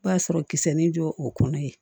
B'a sɔrɔ kisɛ ni jɔ o kɔnɔ yen